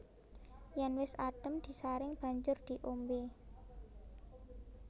Yèn wis adhem disaring banjur diombé